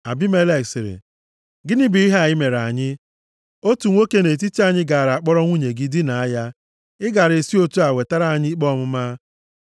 Abimelek sịrị, “Gịnị bụ ihe a i mere anyị? Otu nwoke nʼetiti anyị gaara akpọrọ nwunye gị dinaa ya. Ị gaara esi otu a wetara anyị ikpe ọmụma.”